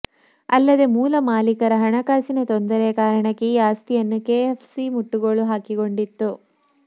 ಅಲ್ಲದೆ ಮೂಲ ಮಾಲೀಕರ ಹಣಕಾಸಿನ ತೊಂದರೆಯ ಕಾರಣಕ್ಕೆ ಈ ಆಸ್ತಿಯನ್ನು ಕೆಎಸ್ಎಫ್ಸಿ ಮುಟ್ಟುಗೋಲು ಹಾಕಿಕೊಂಡಿತ್ತು